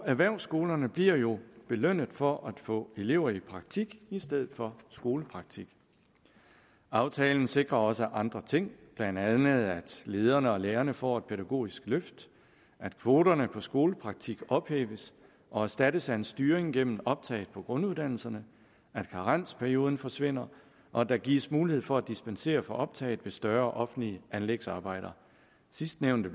erhvervsskolerne bliver jo belønnet for at få elever i praktik i stedet for skolepraktik aftalen sikrer også andre ting blandt andet at lederne og lærerne får et pædagogisk løft at kvoterne for skolepraktik ophæves og erstattes af en styring gennem optag på grunduddannelserne at karensperioden forsvinder og at der gives mulighed for at dispensere for optag ved større offentlige anlægsarbejder sidstnævnte